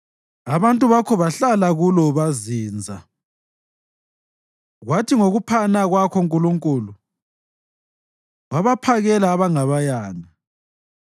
Abantu bakho bahlala kulo bazinza, kwathi ngokuphana kwakho Nkulunkulu, wabaphakela abangabayanga.